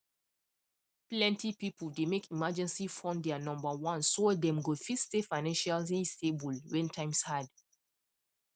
plenty people dey make emergency fund their number one so dem go fit stay financially stable when times hard